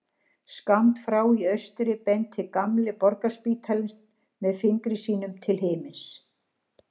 Skammt frá í austri benti gamli Borgarspítalinn með fingri sínum til himins.